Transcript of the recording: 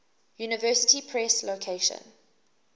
university press location